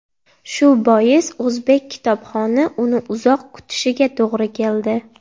Shu bois o‘zbek kitobxoni uni uzoq kutishiga to‘g‘ri keldi.